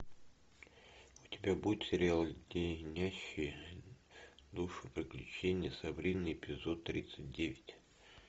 у тебя будет сериал леденящие душу приключения сабрины эпизод тридцать девять